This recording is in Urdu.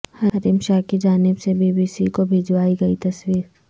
حریم شاہ کی جانب سے بی بی سی کو بھجوائی گئی تصویر